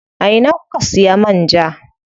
A ina kuka siya man ja?